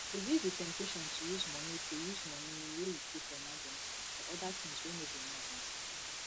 resist di temptation to use money to use money wey you keep for emergency for oda things wey no be emergency